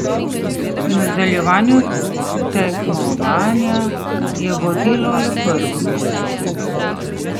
V nadaljevanje tekmovanja je vodilo le prvo mesto.